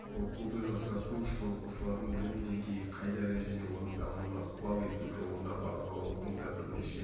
оқуды жақсарту үшін оқушылардың білім деңгейі қай дәрежеде оның дамуына ықпал ету жолында бағалаудың да бірнеше